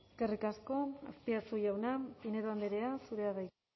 eskerrik asko azpiazu jauna pinedo andrea zurea da hitza